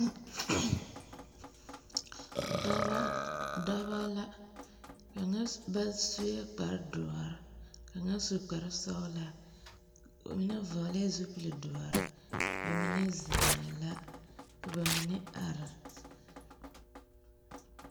Dɔbɔ, dɔbɔ la. Kaŋa sss ba sue kpare doɔre, kaŋa su kpare sɔgelaa mine vɔgelɛɛ zupli doɔre. Ba mine zeŋɛɛ la. Ka ba mine are.